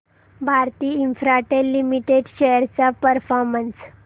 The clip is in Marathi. भारती इन्फ्राटेल लिमिटेड शेअर्स चा परफॉर्मन्स